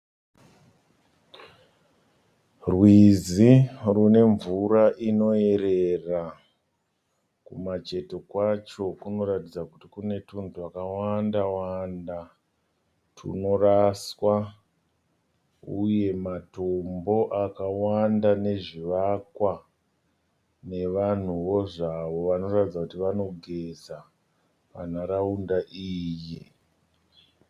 Rwizi rune mvura inoyerera. Kumacheto kwacho kunoratidza kuti kune tunhu twakawanda wanda twunoraswa uye matombo akawanda nezvivakwa nevanhuwo zvavo vanoratidza kuti vanogeza panharaunda iyi.